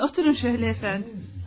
Buyurun, oturun şölə əfəndim.